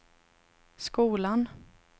skolan